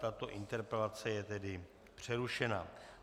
Tato interpelace je tedy přerušena.